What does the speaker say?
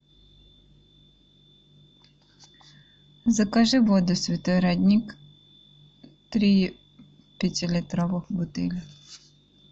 закажи воду святой родник три пятилитровых бутыли